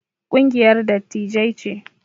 Kungiyar dattijai ce